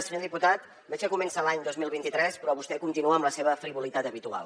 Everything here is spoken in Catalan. senyor diputat veig que comença l’any dos mil vint tres però vostè continua amb la seva frivolitat habitual